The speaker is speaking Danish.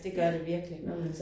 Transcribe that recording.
Det gør det virkelig